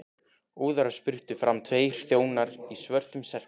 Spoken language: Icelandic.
Óðara spruttu fram tveir þjónar í svörtum serkjum.